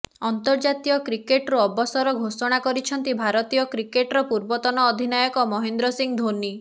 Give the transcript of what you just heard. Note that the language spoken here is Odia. ଅନ୍ତର୍ଜାତୀୟ କ୍ରିକେଟ୍ ରୁ ଅବସର ଘୋଷଣା କରିଛନ୍ତି ଭାରତୀୟ କ୍ରିକେଟର ପୂର୍ବତନ ଅଧିନାୟକ ମହେନ୍ଦ୍ର ସିଂ ଧୋନି